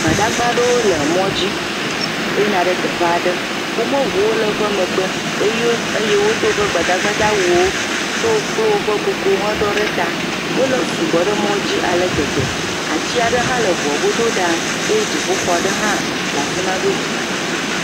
Gbadagba aɖewo le mɔ dzi yina ɖe teƒe aɖe. Woƒe ŋuwo le woƒe megbe eye wodo woƒe gbadagbawuwo tso wo kple woƒe kuku heɖɔ ɖe ta. Wosugbɔ ɖe mɔ dzi ale gbegbe. Ati aɖe hã le ŋua godo ɖaa eye dziƒo xɔ aɖe hã le afi ma godzi.